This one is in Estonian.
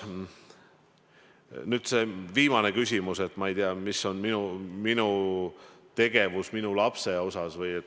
Nüüd see viimane küsimus, mis on minu tegevus minu lapse suhtes.